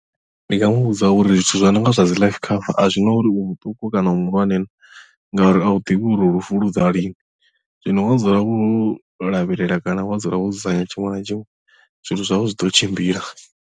Ndi nga mu vhudza uri zwithu zwi no nga zwa dzi life cover a zwi na uri u muṱuku kana u muhulwane na ngauri a u ḓivhi uri lufu lu ḓa lini zwino wa dzula wo lavhelela kana wa dzula wo dzudzanya tshiṅwe na tshiṅwe zwithu zwau zwi ḓo tshimbila.